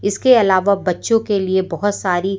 इसके अलावा बच्चों के लिए बहोत सारी--